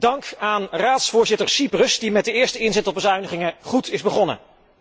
Dank aan Raadsvoorzitter Cyprus, die met de eerste inzet op bezuinigingen goed is begonnen.